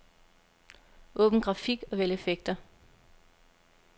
Åbn grafik og vælg effekter.